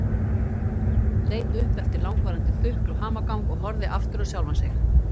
Leit upp eftir langvarandi þukl og hamagang og horfði aftur á sjálfan sig.